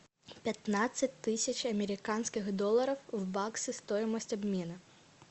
пятнадцать тысяч американских долларов в баксы стоимость обмена